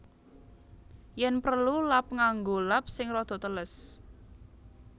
Yen prelu lap nganggo lap sing rada teles